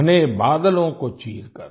घने बादलों को चीरकर